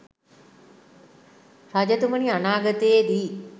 රජතුමනි අනාගතයේ දී